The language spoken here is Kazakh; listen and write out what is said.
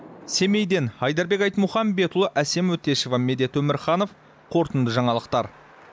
семейден айдарбек айтмұхамбетұлы әсем өтешева медет өмірханов қорытынды жаңалықтар